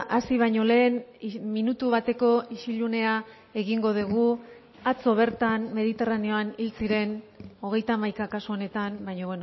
hasi bañolehen minutu bateko isilunea egingo dugu atzo bertan mediterraneoan hil ziren hogeita hamaika kasu honetan baina